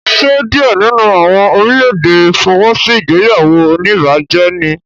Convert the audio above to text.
Ṣe diẹ nínú àwọn orílè-èdè fọwọ́sí ìgbéyàwó onibaje níí?